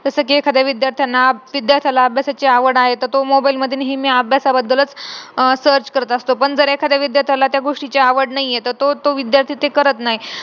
जस कि एखाद्या विध्यार्थ्यांना विद्यार्थ्याला अभ्यासाची आवड आहे तर तो mobile मध्ये नेहमी अभ्यासाबद्दलच अह search करत असतो पण जर एखाद्या विद्यार्थ्याला त्या गोष्टीची आवड नाही आहे त तो तो विद्यार्थी ते करत नाही.